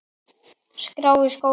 skrá í skóla?